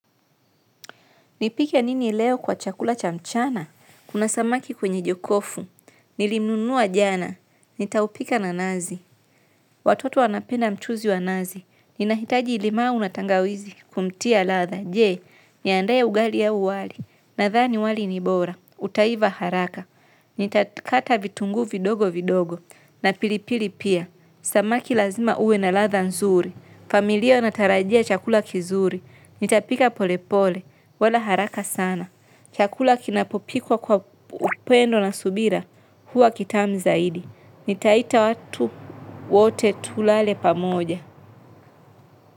Nipike nini leo kwa chakula cha mchana? Kuna samaki kwenye jokofu. Nilimnunua jana. Nitaupika na nazi. Watoto wanapenda mchuzi wa nazi. Nina hitaji limau na tangawizi kumtia ladha. Je, niandae ugali au wali. Nadhani wali ni bora. Utaiva haraka. Nita kata vitunguu vidogo vidogo. Na pilipili pia. Samaki lazima ue na ladha nzuri. Familia unatarajia chakula kizuri. Nitapika pole pole wala haraka sana. Chakula kinapopikwa kwa upendo na subira, huwa kitamu zaidi. Nitaita watu wote tule pamoja.